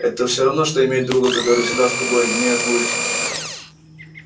это всё равно что иметь друга который всегда с тобой неотлучно